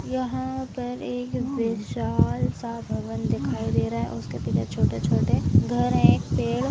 यहाँ पर एक विशाल सा भवन दिखाई दे रहा है उसके पीछे छोटे-छोटे घर है पेड़ --